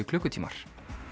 klukkutímar